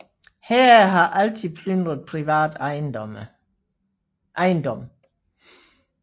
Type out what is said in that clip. Hære har altid plyndret privat ejendom